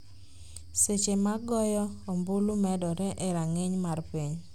seche ma goyo ombulu medore e rang'iny mar piny